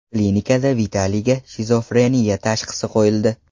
Klinikada Vitaliyga shizofreniya tashxisi qo‘yildi.